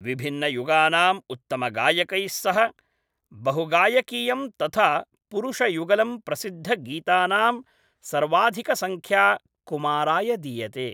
विभिन्नयुगानाम् उत्तमगायकैः सह बहुगायकीयं तथा पुरुषयुगलं प्रसिद्धगीतानां सर्वाधिकसंख्या कुमाराय दीयते।